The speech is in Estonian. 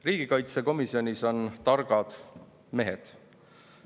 Riigikaitsekomisjonis on targad mehed.